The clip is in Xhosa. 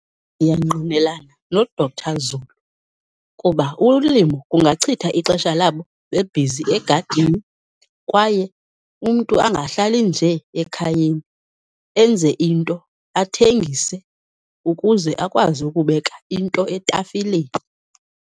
Ndiyangqinelana noDr Zulu kuba ulimo kungachitha ixesha labo bebhizi egadini, kwaye umntu angahlali nje ekhayeni, enze into, athengise ukuze akwazi ukubeka into etafileni.